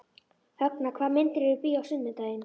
Högna, hvaða myndir eru í bíó á sunnudaginn?